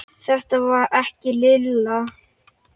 Þetta var ekki Lilla.